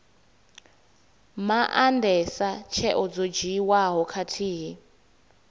maandesa tsheo dzo dzhiiwaho khathihi